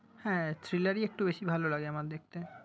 হ্যাঁ thriller ই একটু বেশি ভালো লাগে আমার দেখতে।